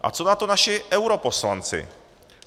A co na to naši europoslanci?